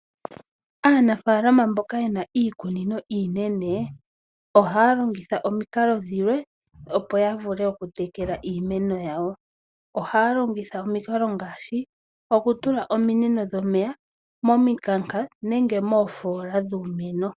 Aanafaalama mboka yena iikunino iinena ohaya longitha omikalo dhilwe opo ya vule oku tekela iimeno yawo. Ohaya longitha omikalo ngaashi okay tula ominino dhomeya mominkaka nenge moofola dhiimeno.